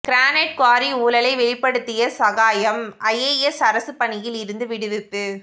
granite quarry ஊழலை வெளிப்படுத்திய Sagayam IAS அரசுப்பணியில் இருந்து விடுவிப்பு